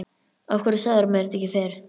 Af hverju sagðirðu mér þetta ekki fyrr?